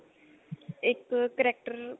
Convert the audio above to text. ਇੱਕ character